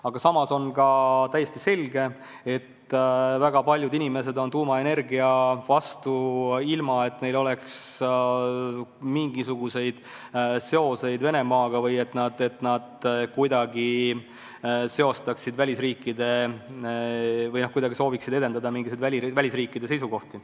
Aga samas on ka täiesti selge, et väga paljud inimesed on tuumaenergia vastu, ilma et neil oleks mingisuguseid seoseid Venemaaga või et nad kuidagi sooviksid esindada mingisuguseid välisriikide seisukohti.